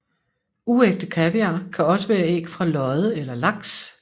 Uægte kaviar kan også være æg fra lodde eller laks